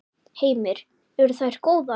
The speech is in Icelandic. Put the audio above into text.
Heimir: Eru þær góðar?